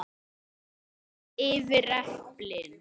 Dreifið yfir eplin.